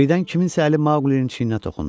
Birdən kimsənin əli Maqulinin çiyninə toxundu.